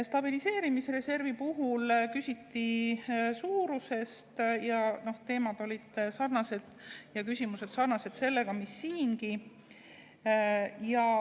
Stabiliseerimisreservi puhul küsiti suuruse kohta, teemad ja küsimused olid sarnased sellega, mis siin oli.